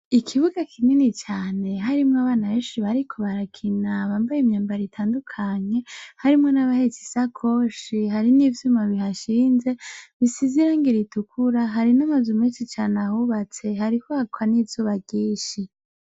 Ikibuga kinini cane harimwo abana benshi bariko barakina bambaye imyambaro itandukanye harimwo na bahetse ishakoshi hariho ivyuma bihashinze bisize irangi ritukura hari na mazu menshi ahubatse hariko haraka n'izuba ryinshi .